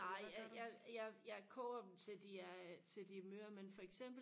nej jeg jeg jeg jeg koger dem til de er til de er møre men for eksempel